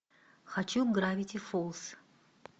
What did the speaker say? хочу гравити фолз